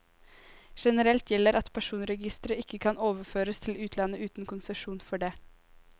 Generelt gjelder at personregistre ikke kan overføres til utlandet uten konsesjon for det.